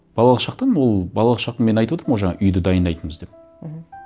балалық шақтан ол балалық шақты мен айтып отырмын ғой жаңа үйді дайындайтынбыз деп мхм